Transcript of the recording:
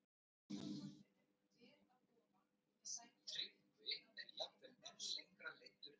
Hann hélt á kaffinu, ber að ofan með sængina upp að mitti, og brosti.